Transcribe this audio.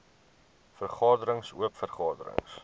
vergaderings oop vergaderings